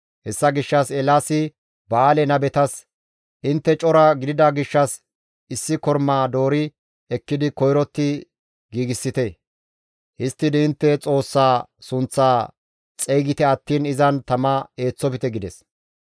Hessa gishshas Eelaasi Ba7aale nabetas, «Intte cora gidida gishshas issi kormaa doori ekkidi koyrotti giigsite. Histtidi intte xoossaa sunththaa xeygite attiin izan tama eeththofte» gides.